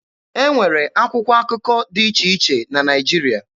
E nwere akwụkwọ akụkọ dị iche iche na Naịjirịa.